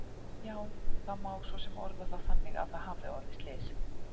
Já, það má svo sem orða það þannig að það hafi orðið slys.